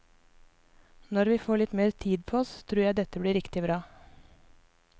Når vi får litt mer tid på oss, tror jeg dette blir riktig bra.